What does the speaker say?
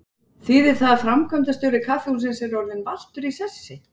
Þýðir það að framkvæmdastjóri kaffihússins er orðinn valtur í sessi?